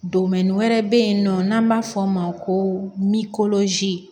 wɛrɛ bɛ yen nɔ n'an b'a fɔ o ma ko